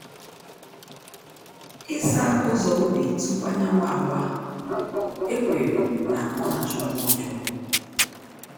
Ịsa ụzọ ubi tupu anyanwu awa, ekwere na ọ na-achụ mmụọ ọjọọ.